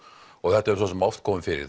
og þetta hefur svo sem oft komið fyrir